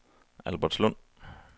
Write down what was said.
Albertslund